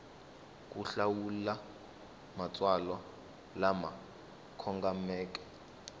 ku hlawula matsalwa lama kongomeke